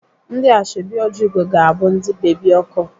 Ndị Ashọbị Ojiugo ga-abụ ndị bebi ọkụ.